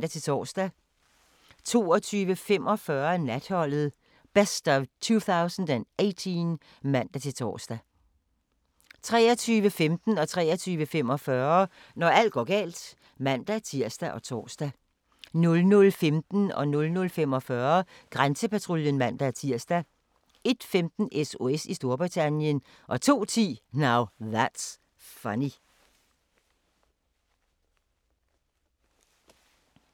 22:45: Natholdet - best of 2018 (man-tor) 23:15: Når alt går galt (man-tir og tor) 23:45: Når alt går galt (man-tir og tor) 00:15: Grænsepatruljen (man-tir) 00:45: Grænsepatruljen (man-tir) 01:15: SOS i Storbritannien 02:10: Now That's Funny